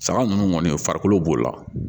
Sama ninnu kɔni farikolo b'o la